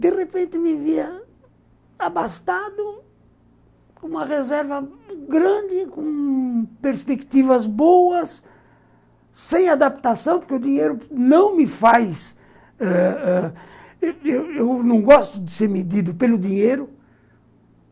De repente, me via abastado, com uma reserva grande, com perspectivas boas, sem adaptação, porque o dinheiro não me faz ãh ãh... Eu não gosto de ser medido pelo dinheiro.